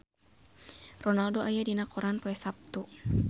Ronaldo aya dina koran poe Saptu